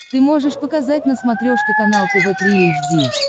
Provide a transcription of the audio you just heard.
ты можешь показать на смотрешке канал тв три эйч ди